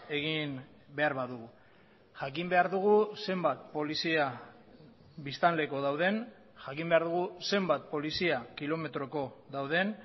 egin behar badugu jakin behar dugu zenbat polizia biztanleko dauden jakin behar dugu zenbat polizia kilometroko dauden